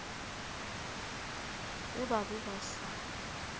ge ba be ba sa